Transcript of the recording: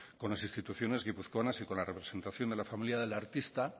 con las instituciones guipuzcoanas y con la representación de la familia del artista